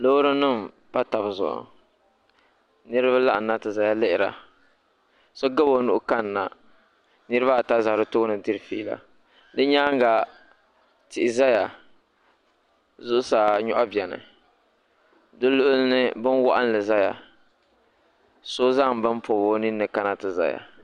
Loori nim n pa tabi zuɣu niraba laɣam na ti ʒɛya lihira so gabi o nuhi kanna niraba ata ʒɛ bi tooni diri fiila bi nyaanga tihi ʒɛya zuɣusaa nyoɣu biɛni di luɣuli ni bin waɣanli ʒɛya so zaŋ bini pobi o ninni kana ti ʒɛya